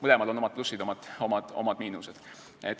Mõlemal on omad plussid ja omad miinused.